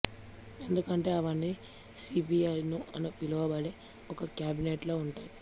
ఎందుకంటే అవన్నీ సీపీయూ అని పిలువబడే ఒక క్యాబినెట్ లో ఉంటాయి